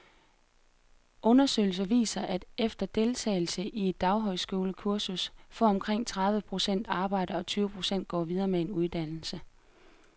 Undersøgelser viser, at efter deltagelse i et daghøjskolekursus får omkring tredive procent arbejde, og tyve procent går videre med en uddannelse.